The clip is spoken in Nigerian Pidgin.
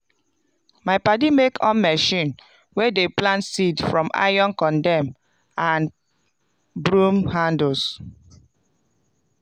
my padi make on machine wey dey plant seed from iron condem and brrom handles.